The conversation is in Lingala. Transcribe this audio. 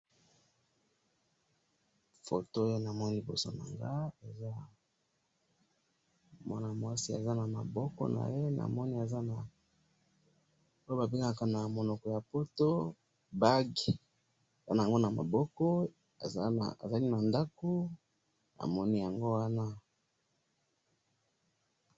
photo na moni eza mwasi aza na maboko naye eza monoko ya poto aza na bague aza na ndaaku